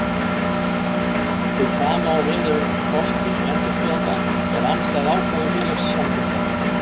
Hið sama á við ef kosning endurskoðenda er andstæð ákvæðum félagssamþykkta.